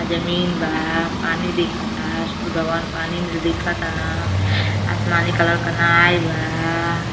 जमीन बा पानी दिख ता सूर्य भगवान् पानी में दिखतन आसमानी कलर का नाए बा।